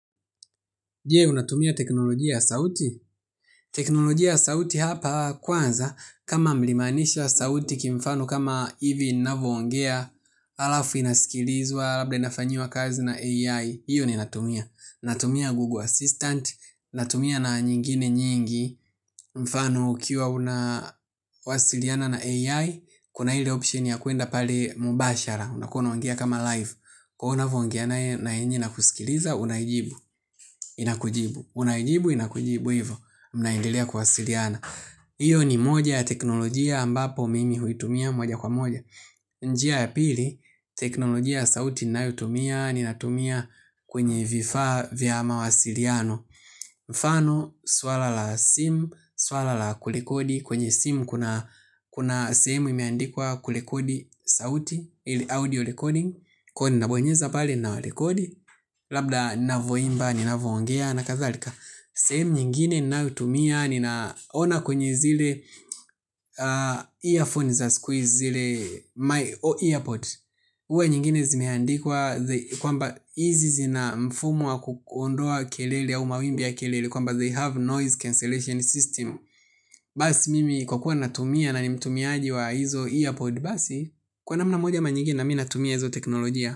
Je, unatumia teknolojia ya sauti? Teknolojia sauti hapa kwanza, kama mlimaanisha sauti kimfano kama hivi navyoongea, alafu inasikilizwa, alafu inafanyiwa kazi na AI, hiyo ni ninatumia. Natumia Google Assistant, natumia na nyingine nyingi, mfano ikiwa unawasiliana na AI, kuna ile option ya kwenda pale mubashara, unakuwa unaoangea kama live. Kwa unavyoongea nae na yenyewe inakusikiliza, unaiibu. Inakujibu, unaijibu, inakujibu hivo mnaendelea kuwasiliana hiyo ni moja ya teknolojia ambapo mimi huitumia moja kwa moja. Njia ya pili, teknolojia ya sauti inayutumia. Ninatumia kwenye vifaa vya mawasiliano. Mfano, swala la simu, swala la kurekodi. Kwenye simu kuna simu imeandikwa kurekodi sauti ile Audio recording, ko ninabonyeza pale nawarekodi. Labda navoimba ninavoongea na kadhalika. Sehemu nyingine ninayotumia. Ninaona kwenye zile Earphones za siku zile earpods huwa nyingine zimeandikwa kwamba izi zina mfumo wa kuondoa kelele au mawimbi ya kelele. Kwamba they have noise cancellation system. Basi mimi kwa kuwa natumia na ni mtumiaji wa hizo earpods. Basi kwa namna moja ama nyingine na mimi natumia hizo teknolojia.